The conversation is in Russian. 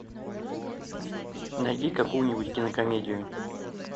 найди какую нибудь кинокомедию